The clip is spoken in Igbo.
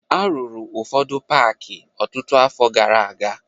A rụrụ ụfọdụ paakị ọtụtụ afọ gara aga